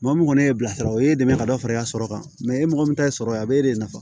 Maa min kɔni ye bilasira o ye dɛmɛ ka dɔ fara i ka sɔrɔ kan mɛ e mɔgɔ min t'a sɔrɔ a bɛ e de nafa